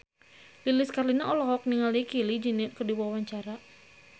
Lilis Karlina olohok ningali Kylie Jenner keur diwawancara